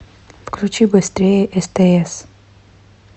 включи быстрее стс